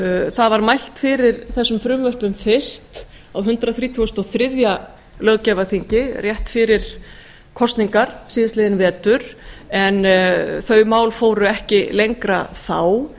það var mælt fyrir þessum frumvörpum fyrst á hundrað þrítugasta og þriðja löggjafarþingi rétt fyrir kosningar síðastliðinn vetur en þau mál fóru ekki lengra þá